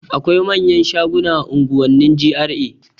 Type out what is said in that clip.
Akwai manyan shaguna a unguwannin GRA